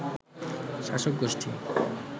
শাসক গোষ্ঠী